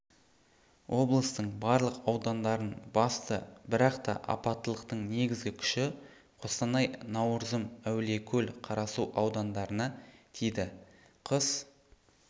облыстың барлық аудандарын басты бірақта апаттылықтың негізгі күші қостанай науырзым әулиекөл қарасу аудандарына тиді қыс